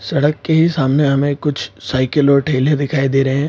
सड़क के ही सामने हमें कुछ साइकिल और ठेले दिखाई दे रहे हैं।